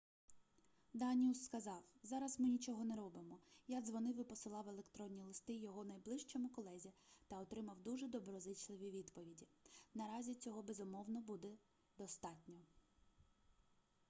даніус сказав зараз ми нічого не робимо я дзвонив і посилав електронні листи його найближчому колезі та отримав дуже доброзичливі відповіді наразі цього безумовно буде достатньо